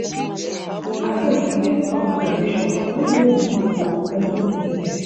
Abeg e get some traditions wey no good for person to hear